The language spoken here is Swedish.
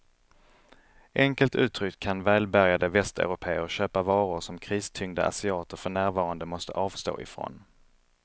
Enkelt uttryckt kan välbärgade västeuropéer köpa varor som kristyngda asiater för närvarande måste avstå ifrån.